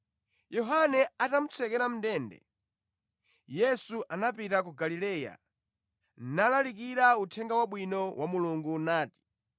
Yohane atamutsekera mʼndende, Yesu anapita ku Galileya nalalikira Uthenga Wabwino wa Mulungu nati,